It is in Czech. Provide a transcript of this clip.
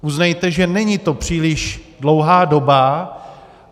Uznejte, že není to příliš dlouhá doba.